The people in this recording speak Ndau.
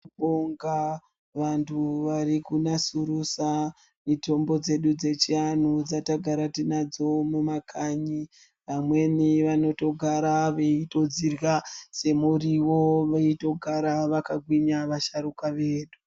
Tinobonga vantu varikunasurudza mitombo dzedu dzechiantu dzatagara tiinadzo mumakanyi. Vamweni vanotogara veitodzirya semuriwo veitogara vakagwinya vasharuka vedu.